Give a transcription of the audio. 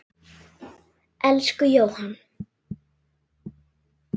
Elsku Jóhann.